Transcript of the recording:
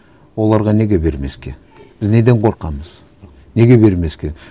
оларға неге бермеске біз неден қорқамыз неге бермеске